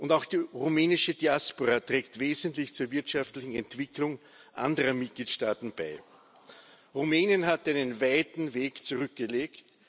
Auch die rumänische Diaspora trägt wesentlich zur wirtschaftlichen Entwicklung anderer Mitgliedstaaten bei. Rumänien hat einen weiten Weg zurückgelegt.